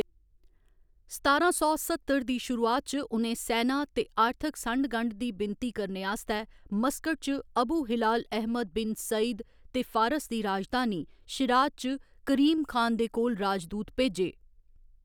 सतारां सौ सत्तर दी शुरुआत च उ'नें सैना ते आर्थक संढ गंढ दी विनती करने आस्तै मस्कट च Abu Hilal Ahmad bin Said ते फारस दी राजधानी, शिराज च करीम खान दे कोल राजदूत भेजे।